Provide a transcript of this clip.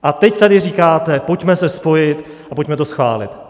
A teď tady říkáte: Pojďme se spojit a pojďme to schválit.